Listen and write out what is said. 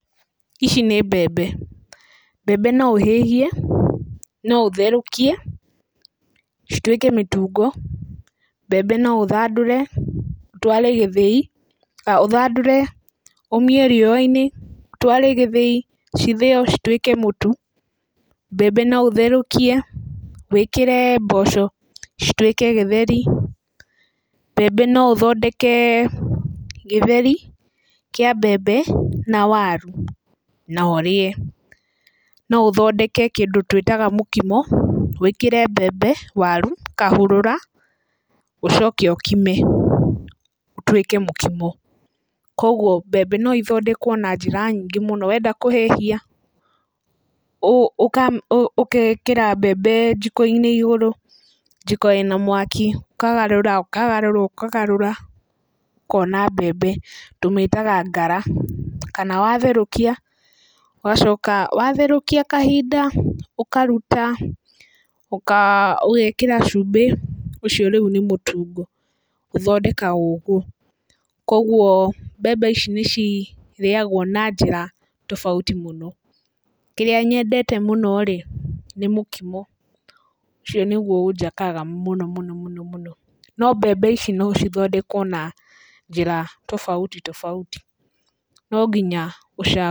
Ici nĩ mbembe, mbembe no ũhĩhie, no ũtherũkie, cituĩke mĩtungo, mbembe no ũthandũre ũtware gĩthĩi, ũthandũre ũmie riũa-inĩ, ũtware gĩthĩi cithĩo cituĩke mũtu, mbembe no ũtherũkie, wĩkĩre mboco cituĩke gĩtheri. Mbembe no ũthondeke gĩtheri kĩa mbembe na waru no ũrĩe. No ũthondeke kĩndũ twĩtaga mũkimo, wĩkĩre mbembe, waru, kahũrũra ũcoke ũkime ũtuĩke mũkimo. Koguo mbembe no ithondekwo na njĩra nyingĩ, wenda kũhĩhia, ũgekĩra mbembe njiko-inĩ igũrũ, njiko ĩna mwaki, ũkagarũra, ũkagarũra , ũkagarũra, ũkona mbembe, tũmĩtaga ngara kana watherũkia ũgacoka watherũkia kahinda, ũkaruta ũgekĩra cumbĩ, ũcio rĩu nĩ mũtungo, ũthondekagwo ũguo Koguo mbembe ici nĩ cirĩagwo na njĩra tofauti mũno. Kĩrĩa nyendete mũno-rĩ nĩ mũkimo, ũcio nĩguo ũnjakaga mũno mũno mũno. No mbembe ici no cithondekwo na njĩra tofauti tofauti, no nginya ũcagũre.